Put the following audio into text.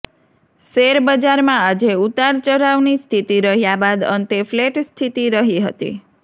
શેરબજારમાં આજે ઉતારચઢાવની સ્થિતિ રહ્યા બાદ અંતે ફ્લેટ સ્થિતિ રહી હતી